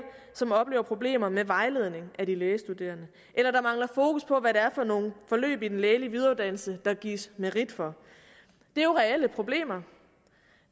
som oplever problemer med vejledning af de lægestuderende eller at der mangler fokus på hvad det er for nogle forløb i den lægelige videreuddannelse der gives merit for det er jo reelle problemer